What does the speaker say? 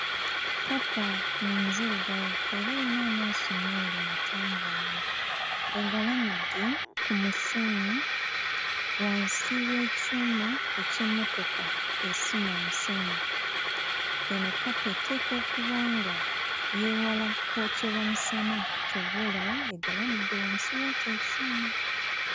Kkapa nzirugavu era erina amaaso meeru matangaavu, egalamidde ku musenyu wansi w'ekyuma eky'emmotoka esima omusenyu. Eno kkapa eteekwa okuba nga yeewala kwokyebwa musana, ky'ova olaba egalamidde wansi w'ekyo ekyuma.